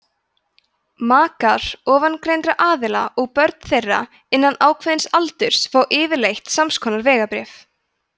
makar ofangreindra aðila og börn þeirra innan ákveðins aldurs fá yfirleitt samskonar vegabréf